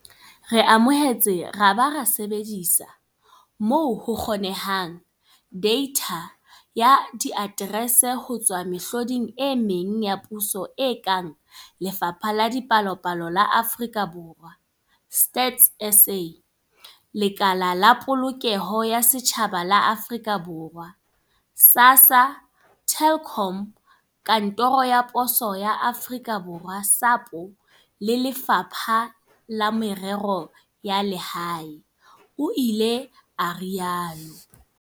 Re amohetse ra ba ra sebedisa, moo ho kgonehang, deitha ya diaterese ho tswa mehloding e meng ya puso e kang Lefapha la Dipalopalo la Aforika Borwa StatsSA, Lekala la Polokeho ya Setjhaba la Aforika Borwa SASSA, Telkom, Kantoro ya Poso ya Aforika Borwa SAPO. Le Lefapha la Merero ya Lehae, o ile a rialo.